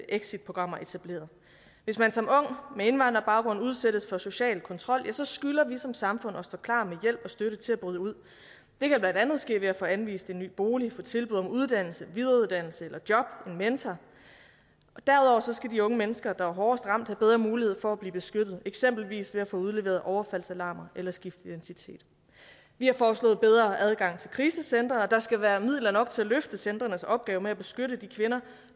exitprogrammer etableret hvis man som ung med indvandrerbaggrund udsættes for social kontrol ja så skylder vi som samfund at stå klar med hjælp og støtte til at bryde ud det kan blandt andet ske ved at få anvist en ny bolig få tilbud om uddannelse videreuddannelse eller job en mentor derudover skal de unge mennesker der er hårdest ramt have bedre mulighed for at blive beskyttet eksempelvis ved at få udleveret overfaldsalarm eller skifte identitet vi har foreslået bedre adgang til krisecentre og at der skal være midler nok til at løfte centrenes opgave med at beskytte de kvinder